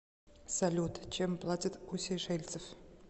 салют чем платят у сейшельцев